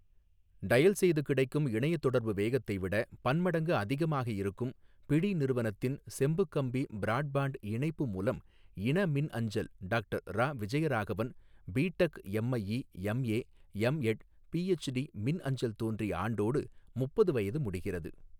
Dial செய்து கிடைக்கும் இணைய தொடர்பு வேகத்தைவிட பன்மடங்கு அதிகமாக இருக்கும் பிடி நிறுவனத்தின் செம்பு கம்பி ப்ராட்பாண்ட் இணைப்பு மூலம் இன மின் அஞ்சல் doctor Iravijayaraghavan BTech MIE MA MEd PhD மின் அஞ்சல் தோன்றிய ஆண்டோடு முப்பது வயது முடிகிறது.